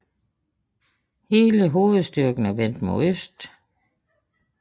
Hele hovedstyrken er vendt mod øst